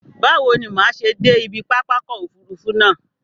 Báwo ni màá ṣe dé ibi pápákọ̀ òfurufú náà?